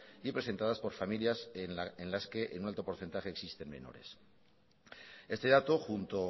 y presentadas por familias en las que en un alto porcentaje existen menores este dato junto